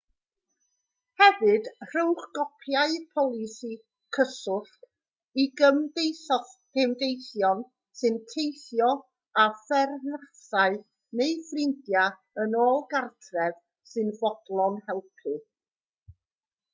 hefyd rhowch gopïau polisi/cyswllt i gymdeithion sy'n teithio a pherthnasau neu ffrindiau yn ôl gartref sy'n fodlon helpu